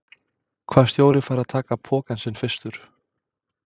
Hvaða stjóri fær að taka pokann sinn fyrstur?